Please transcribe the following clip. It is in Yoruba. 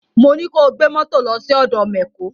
Mo ní ko gbé mọ́tò lọ sí ọ̀dọ mẹ̀kó!